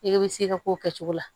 I bɛ se ka k'o kɛ cogo la